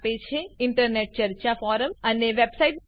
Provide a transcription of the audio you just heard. દાખલા તરીકે ઈન્ટરનેટ ચર્ચા ફોરમ અને વેબ સાઈટસ